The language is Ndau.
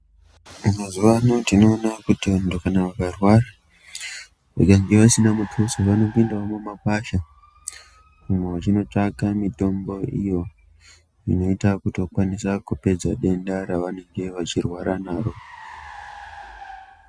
Mazuwa ano tinoona kuti kana muntu akarwara kunyange asina muthuso anopindawo mumakwasha umwo vechinotsvaka mitombo iyo inoite kuti vakwanise kupedza denda ravanenge vechirwara naro.